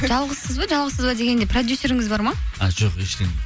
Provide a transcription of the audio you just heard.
жалғызсыз ба жалғызсыз ба дегенде продюсеріңіз бар ма а жоқ ештеңе